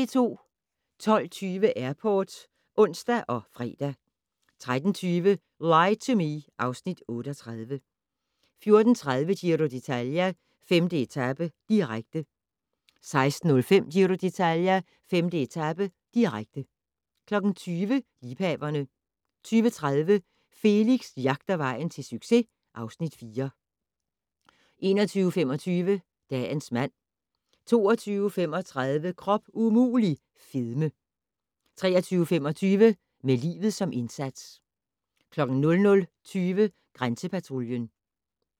12:20: Airport (ons og fre) 13:20: Lie to Me (Afs. 38) 14:30: Giro d'Italia: 5. etape, direkte 16:05: Giro d'Italia: 5. etape, direkte 20:00: Liebhaverne 20:30: Felix jagter vejen til succes (Afs. 4) 21:25: Dagens mand 22:35: Krop umulig - fedme 23:25: Med livet som indsats 00:20: Grænsepatruljen